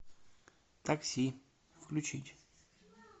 такси включить